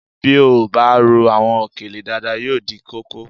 Bí a ò bá rò àwọn òkèlè dáadáa yóò dí kókó